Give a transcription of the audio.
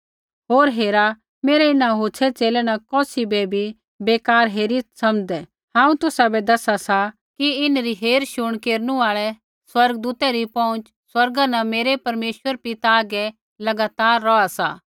होर हेरा मेरै इन्हां होछ़ै च़ेले न कौसी बै भी बेकार हेरीत् समझ़दै हांऊँ तुसाबै दसा सा कि इन्हरी हेरशुण केरनु आल़ै स्वर्गदूतै री पहुँच स्वर्गा न मेरै परमेश्वर पिता हागै लगातार रौहा सा